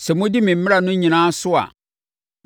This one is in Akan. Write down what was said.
“ ‘Sɛ modi me mmara no nyinaa so a,